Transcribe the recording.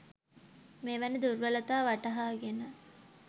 මෙවැනි දුර්වලතා වටහාගෙන